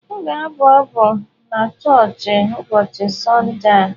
M ga-abụ abụ n'choochi ụbọọchị Sọnde a.